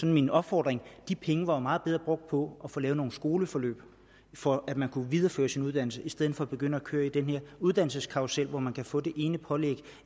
min opfordring de penge var jo meget bedre brugt på at få lavet nogle skoleforløb for at man kunne videreføre sin uddannelse i stedet for at begynde at køre i den her uddannelseskarrusel hvor man kan få det ene pålæg